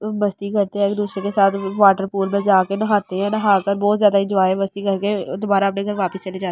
मस्ती करते हैं एक दूसरे के साथ वाटर पूल में जाकर नहाते हैं नहाकर बहुत ज्यादा इन्जॉय मस्ती करके दोबारा अपने घर वापस चले जाते हैं।